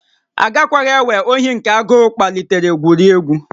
Agakwaghị ewere ohi nke agụụ kpalitere gwurie egwu